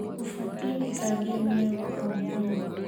Ũbatiĩ gũthambia magego omũthenya.